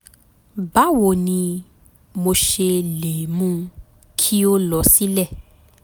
báwo ni mo ṣe lè mú kí ó lọ sílẹ̀?